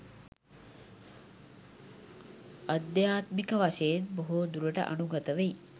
අධ්‍යාත්මික වශයෙන් බොහෝ දුරට අනුගත වෙයි.